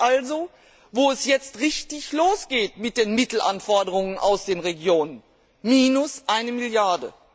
Dort also, wo es jetzt richtig losgeht mit den Mittelanforderungen aus den Regionen minus eine Milliarde.